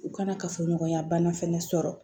U kana kafoɲɔgɔnya bana fɛnɛ sɔrɔ